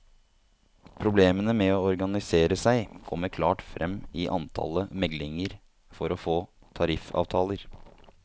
Problemene med å organisere seg kommer klart frem i antallet meglinger for å få tariffavtaler.